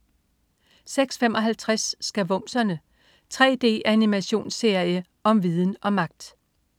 06.55 Skavumserne. 3D-animationsserie om viden og magt!